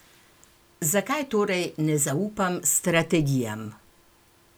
Zakaj torej ne zaupam strategijam?